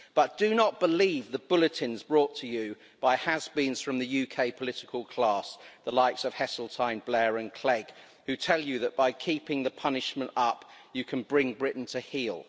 But do not believe the bulletins brought to you by has beens from the UK political class the likes of Heseltine, Blair and Clegg who tell you that by keeping the punishment up, you can bring Britain to heel.